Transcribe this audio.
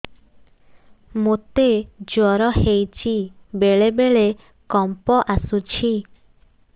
ମୋତେ ଜ୍ୱର ହେଇଚି ବେଳେ ବେଳେ କମ୍ପ ଆସୁଛି